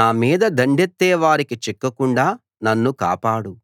నా మీద దండెత్తే వారికి చిక్కకుండా నన్ను కాపాడు